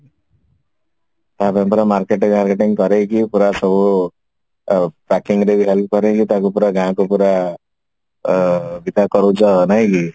ତା ପାଇଁ ପୁରା marketing ଫାରକେଟିଙ୍ଗ କରେଇକି ପୁରା ସବୁ ଅ packing ରେ ବି help କରେଇକି ତାକୁ ପୁରା ଗାଁକୁ ପୁରା ଅ ବିଦା କରଉଛ ନାଇକି